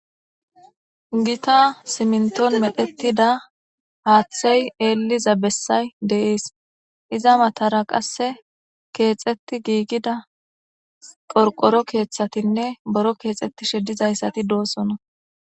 Gita siminton medhetida haaththey eliza bessay deees iza matara qasse keexetti giigida porqoro keeththatinne boro keexettishe dizayssati doosona.